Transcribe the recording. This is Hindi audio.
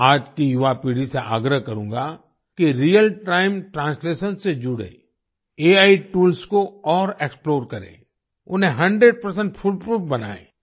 मैं आज की युवापीढ़ी से आग्रह करूँगा कि रियल टाइम ट्रांसलेशन से जुड़े एआई टूल्स को और एक्सप्लोर करें उन्हें 100 फुल प्रूफ बनाएं